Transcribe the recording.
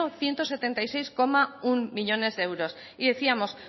ciento setenta y seis coma uno millónes euros y decíamos